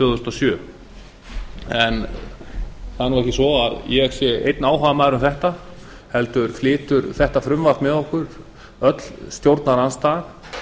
þúsund og fimm það er nú ekki svo að ég sé einn áhugamaður um þetta heldur flytur þessa tillögu með okkur öll stjórnarandstaðan